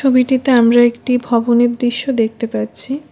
ছবিটিতে আমরা একটি ভবনের দৃশ্য দেখতে পাচ্ছি।